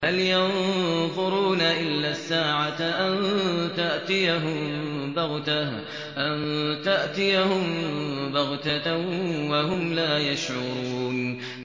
هَلْ يَنظُرُونَ إِلَّا السَّاعَةَ أَن تَأْتِيَهُم بَغْتَةً وَهُمْ لَا يَشْعُرُونَ